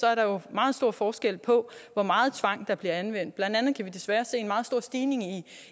er der jo meget stor forskel på hvor meget tvang der bliver anvendt blandt andet kan vi desværre se en meget stor stigning